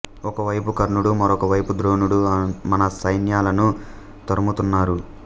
ఒక వైపు కర్ణుడు మరొక వైపు ద్రోణుడు మన సైన్యాలను తరుముతున్నారు